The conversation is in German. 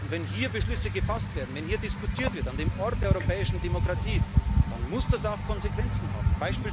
Und wenn hier Beschlüsse gefasst werden, wenn hier diskutiert wird an dem Ort der europäischen Demokratie, dann muss das auch Konsequenzen haben.